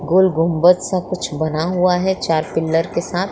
गोल गुम्बज सा कुछ बना हुआ है चार पिलर के साथ।